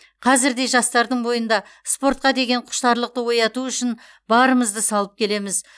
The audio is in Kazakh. қазір де жастардың бойында спортқа деген құштарлықты ояту үшін барымызды салып келеміз